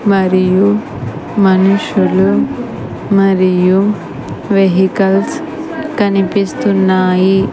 మరియు మనుషులు మరియు వెహికల్స్ కనిపిస్తున్నాయి --